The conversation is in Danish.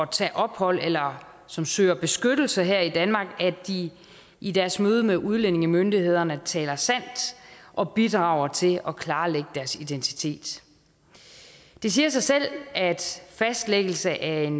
tage ophold eller som søger beskyttelse her i danmark at de i deres møde med udlændingemyndighederne taler sandt og bidrager til at klarlægge deres identitet det siger sig selv at fastlæggelse af en